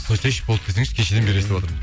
қойсайшы болды десеңші кешеден бері естіватырмын